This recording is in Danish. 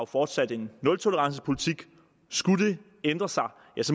fortsat en nultolerancepolitik skulle det ændre sig